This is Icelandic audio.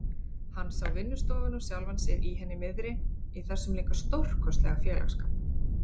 Hann sá vinnustofuna og sjálfan sig í henni miðri, í þessum líka stórkostlega félagsskap.